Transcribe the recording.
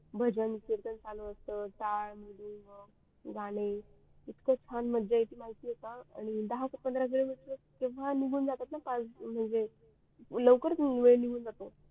भजन कीर्तन चालू असत ताड गाणे इतक छान मज्जा येते माहीत आहे काल वकरच दहा पंधरा वेड निघून जातो